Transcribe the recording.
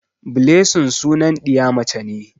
Blessing sunan ɗiya mace ce.